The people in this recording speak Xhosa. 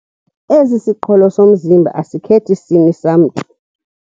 Esi siqholo somzimba asikhethi sini samntu.